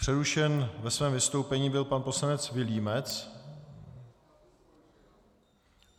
Přerušen ve svém vystoupení byl pan poslanec Vilímec.